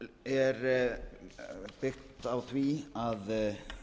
er byggt á því að